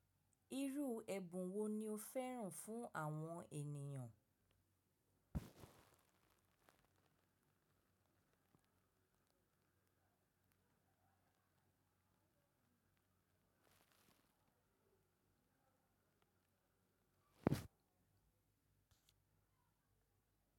Irú ẹ̀bùn wo ni o fẹ́ràn fún àwọn ènìyàn?